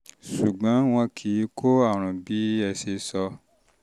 sùgbọ́n wọn kì í kó àrùn bí ẹ se sọ